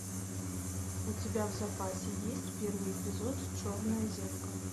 у тебя в запасе есть первый эпизод черное зеркало